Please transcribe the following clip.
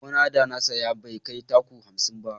Gona da na saya bai kai taku hamsin ba